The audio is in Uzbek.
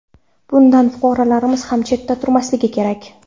Bundan fuqarolarimiz ham chetda turmasligi kerak.